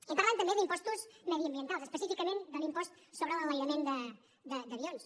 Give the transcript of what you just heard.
i parlen també d’impostos mediambientals específicament de l’impost sobre l’enlairament d’avions